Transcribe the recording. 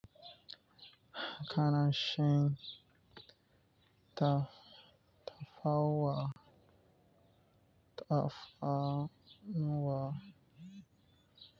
Kana shan taf-tafawa, tafawa.